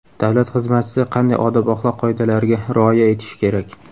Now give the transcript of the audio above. Davlat xizmatchisi qanday odob-axloq qoidalariga rioya etishi kerak?.